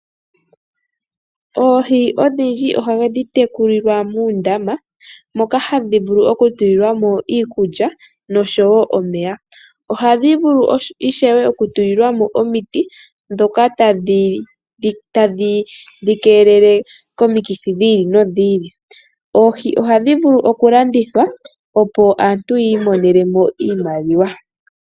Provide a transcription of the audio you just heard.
Oohi odhindji ohadhi tekulilwa uundama moka hadhi vulu oku tulilwamo iikulya noshowo omeya. Ohadhi vulu ishewe oku tulilwamo omiti dhoka tadhi dhikelele komikithi dhiili nodhiili, oohi ohadhi vulu okulandithwa opo aantu yiimonenemo iimaliwa.